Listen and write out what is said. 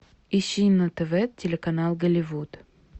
ищи на тв телеканал голливуд